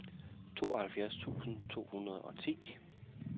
tooghalvfjerds tusind to hundrede og ti